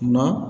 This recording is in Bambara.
Nka